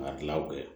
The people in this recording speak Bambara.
A tilaw kɛ